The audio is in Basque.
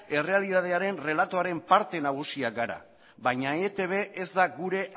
errealitatearen errelatoaren parte nagusia gara baina etib ez da gure